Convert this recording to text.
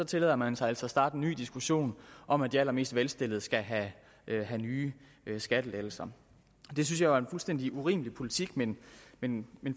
tillader man sig altså at starte en ny diskussion om at de allermest velstillede skal have nye skattelettelser det synes jeg er en fuldstændig urimelig politik men men